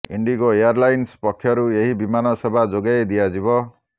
IndiGo airlines ପକ୍ଷରୁ ଏହି ବିମାନ ସେବା ଯୋଗାଇ ଦିଆଯିବ